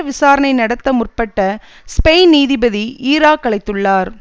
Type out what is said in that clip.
விசாரணை நடத்த முற்பட்ட ஸ்பெயின் நீதிபதி ஈராக் அழைத்துள்ளார்